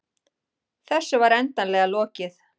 Þessu var endanlega lokið.